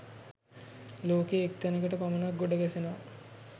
ලෝකයේ එක් තැනකට පමණක් ගොඩ ගැසෙනවා.